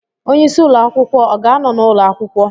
Onye isi ụlọ akwụkwọ ọ ga-anọ n'ụlọ akwụkwọ?